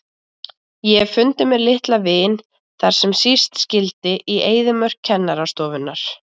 Ég hef fundið mér litla vin þar sem síst skyldi, í eyðimörk kennarastofunnar.